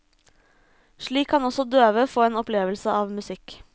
Slik kan også døve få en opplevelse av musikk.